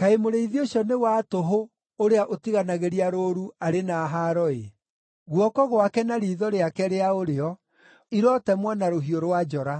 “Kaĩ mũrĩithi ũcio wa tũhũ, ũrĩa ũtiganagĩria rũũru, arĩ na haaro-ĩ! Guoko gwake na riitho rĩake rĩa ũrĩo irotemwo na rũhiũ rwa njora!